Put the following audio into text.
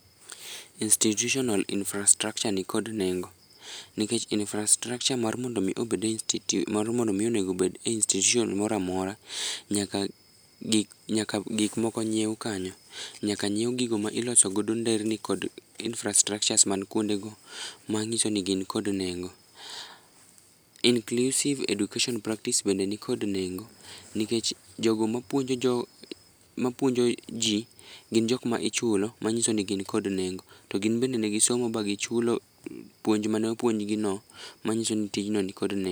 Institutional infastructure nikod nengo nikech infastructure mondo mi onego obed e institution moro amora, nyaka gik moko nyiew kanyo, nyaka nyiew gigo ma iloso godo nderni kod infastrucures mantie kuno manyiso ni gin kod nengo. Inclusive Education practice bende nikod nengo nikech jogo mapuonjo jii gin jokma ichulo manyisoni gin kod nengo. To gin bende ne gisomo magichulo puonj mane opuonj gino manyisoni tijno nikod nengo